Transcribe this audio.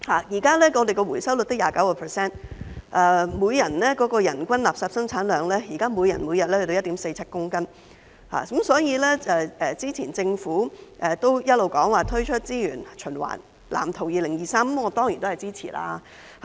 現時的回收率只有 29%， 人均垃圾生產量，現在每天達 1.47 公斤，所以對於政府早前表示會推出《香港資源循環藍圖2035》，我當然支持。